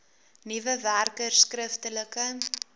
nuwe werkers skriftelike